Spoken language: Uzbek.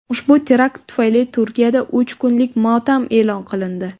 Ushbu terakt tufayli Turkiyada uch kunlik motam e’lon qilindi .